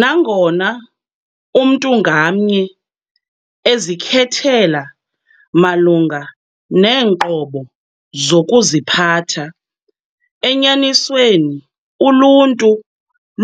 Nangona umntu ngamnye ezikhethela malunga neenqobo zokuziphatha, enyanisweni uluntu